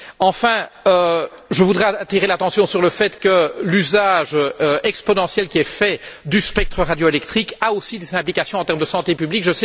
Enfin, je voudrais attirer l'attention sur le fait que l'usage exponentiel qui est fait du spectre radioélectrique a aussi des implications en termes de santé publique.